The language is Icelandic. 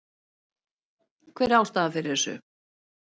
Hver er ástæðan fyrir þessu?